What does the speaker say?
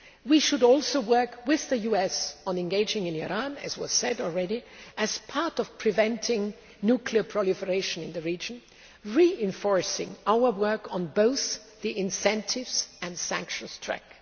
We should also work with the US on engaging in Iran as has already been said as part of preventing nuclear proliferation in the region, reinforcing our work on both the incentives and sanctions track.